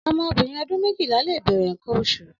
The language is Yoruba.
Ọmọ óbirin ọdun méjila lé bẹrẹ nkãn óṣu